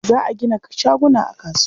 Za a gina shaguna a kasuwa.